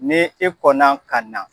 Ni e kɔnɔ ka na